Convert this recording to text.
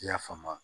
I y'a faamu